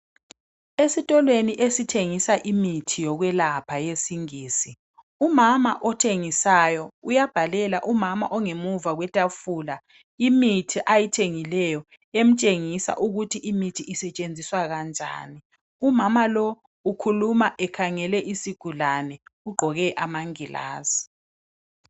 Esitolweni esithengisa imithi yokwelapha yesingisi, umama othengisayo, uyabhalela umama ongemuva kwetafula imithi ayithengileyo, emtshengisa ukuthi imithi isetshenziswa kanjani. Umama lo ukhuluma ekhangele isigulane, ugqoke amangilazi.